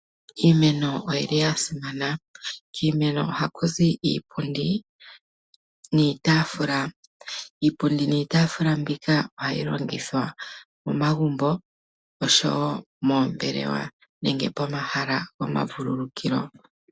Iimeno oyi li ya simana. Kiimeno oha ku zi iipundi niitaafula. Iipundi niitaafula ohayi longithwa momagumbo, oshowo moombelewa nenge momahala gomavulukukilo.